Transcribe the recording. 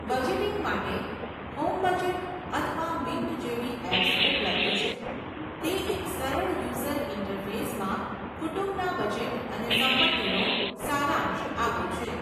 Budgeting માટે, HomeBudget અથવા Mint જેવી એપ્સ ઉપલબ્ધ છે, તે એક સરળ યુઝર ઇન્ટરફેસમાં કુટુંબના બજેટ અને સંપત્તિનો સારાંશ આપે છે.